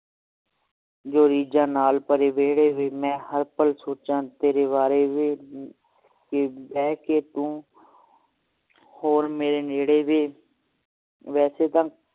ਜੋ ਰੀਝਾਂ ਨਾਲ ਭਰੇ ਵੇਹੜੇ ਵੇ ਮੈਂ ਹਰ ਪਲ ਸੋਚਾਂ ਤੇਰੇ ਵਾਰੇ ਵੇ ਕਿ ਬਹਿ ਕੇ ਤੂੰ ਕੋਲ ਮੇਰੇ ਨੇੜੇ ਵੇ ਵੈਸੇ ਤਾ